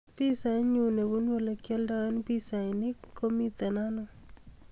Pisainyu nebunu olegioldoen pisainik komito ano